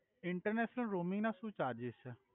International roaming નાં સુ charges છે.